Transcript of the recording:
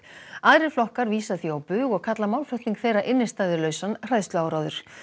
aðrir flokkar vísa því á bug og kalla málflutning þeirra hræðsluáróður